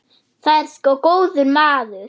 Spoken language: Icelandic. Það er sko góður maður.